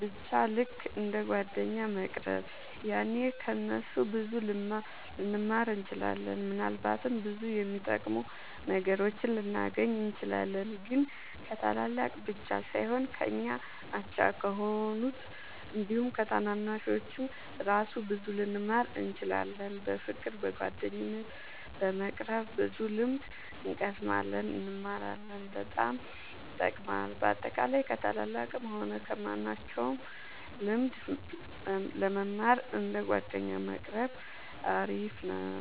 በቻ ልክ እንደ ጓደኛ መቅረብ ያኔ ከ እነሱ ብዙ ልንማር እንችላለን። ምናልባትም ብዙ የሚጠቅሙ ነገሮችን ልናገኝ እንችላለን። ግን ከታላላቅ ብቻ ሳይሆን ከኛ አቻ ከሆኑት አንዲሁም ከታናናሾቹ እራሱ ብዙ ልንማር እንችላለን። በፍቅር በጓደኝነት በመቅረብ ብዙ ልምድ እንቀስማለን እንማራለን በጣም ይጠቅማል። በአጠቃላይ ከ ታላላቅም ሆነ ከማንኞቹም ልምድ ለመማር እንደ ጓደኛ መቆረብ አሪፍ ነው